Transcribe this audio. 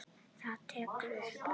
Þetta gekk upp.